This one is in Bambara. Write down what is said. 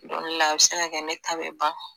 Don dɔ la a bɛ se ka kɛ ne ta bɛ ban